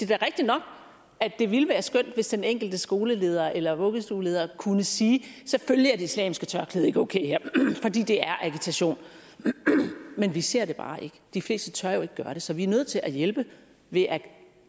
da rigtig nok at det ville være skønt hvis den enkelte skoleleder eller vuggestueleder kunne sige selvfølgelig er det islamiske tørklæde ikke okay her fordi det er agitation men vi ser det bare ikke de fleste tør jo ikke gøre det så vi er nødt til at hjælpe ved at